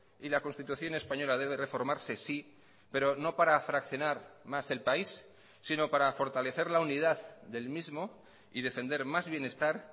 y la constitución española debe reformarse sí pero no para fraccionar más el país sino para fortalecer la unidad del mismo y defender más bienestar